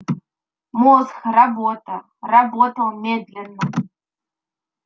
мозг робота работал медленно